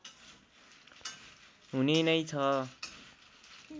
हुने नै छ